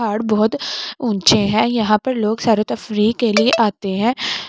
पहाड़ बहोत ऊंचे हैं यहाँ पर लोग सरोतफरी के लिए आते हैं --